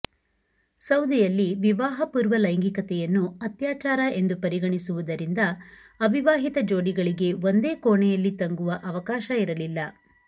ಸೌದಿಯಲ್ಲಿ ವಿವಾಹಪೂರ್ವ ಲೈಂಗಿಕತೆಯನ್ನು ಅತ್ಯಾಚಾರ ಎಂದು ಪರಿಗಣಿಸುವುದರಿಂದ ಅವಿವಾಹಿತ ಜೋಡಿಗಳಿಗೆ ಒಂದೇ ಕೋಣೆಯಲ್ಲಿ ತಂಗುವ ಅವಕಾಶ ಇರಲಿಲ್ಲ